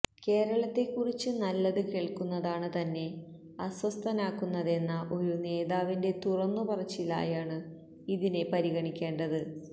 കേരളത്തെക്കുറിച്ച് നല്ലത് കേള്ക്കുന്നതാണ് തന്നെ അസ്വസ്തനാക്കുന്നതെന്ന ഒരു നേതാവിന്റെ തുറന്നുപറച്ചിലായാണ് ഇതിനെ പിരഗണിക്കേണ്ടത്